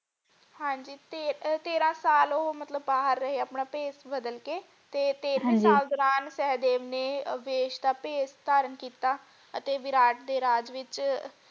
ਹਾਂਜੀ ਤੇ ਤੇਰਾਂ ਸਾਲ ਉਹ ਮਤਲਬ ਬਾਹਰ ਰਹੇ ਆਪਣਾ ਭੇਸ਼ ਬਦਲ ਕੇ ਤੇ ਤੇਹਰਾ ਹਾਂਜੀ ਸਾਲ ਦੌਰਾਨ ਸਹਿਦੇਵ ਨੇ ਵੇਸ਼ ਦਾ ਭੇਸ਼ ਧਾਰਨ ਕੀਤਾ ਅਤੇ ਵਿਰਾਟ ਦੇ ਰਾਜ ਵਿਚ।